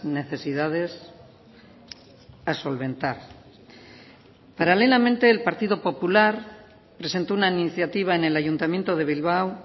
necesidades a solventar paralelamente el partido popular presentó una iniciativa en el ayuntamiento de bilbao